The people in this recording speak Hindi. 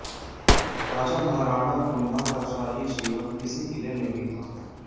राजा महाराणा कुम्भा का शाही जीवन इसी किले में बीता